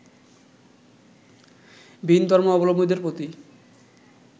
ভিন ধর্মাবলম্বীদের প্রতি